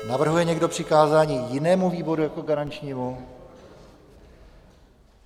Navrhuje někdo přikázání jinému výboru jako garančnímu?